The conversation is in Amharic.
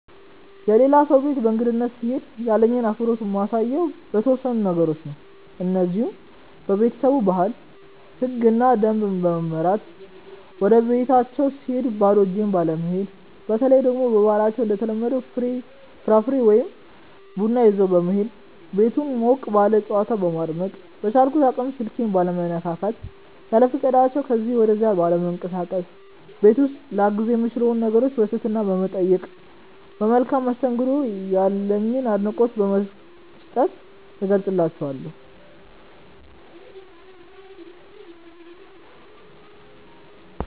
የሌላ ሰው ቤት በእንግድነት ስሄድ ያለኝን አክብሮት የማሳየው በተወሰኑ ነገሮች ነው። እነዚህም:- በቤተሰቡ ባህል፣ ህግና ደንብ በመመራት፣ ወደቤታቸው ስሄድ ባዶ እጄን ባለመሄድ፣ በተለይ ደግሞ በባህላችን እንደተለመደው ፍራፍሬ ወይ ቡና ይዞ በመሄድ፣ ቤቱን ሞቅ ባለ ጨዋታ በማድመቅ፣ በቻልኩት አቅም ስልኬን ባለመነካካት፣ ያለፈቃዳቸው ከዚ ወደዛ ባለመንቀሳቀስ፣ ቤት ውስጥ ላግዝ የምችላቸውን ነገሮች በትህትና በመጠየቅ፣ ለመልካም መስተንግዷቸው ያለኝን አድናቆት በመስጠት እገልፀዋለሁ።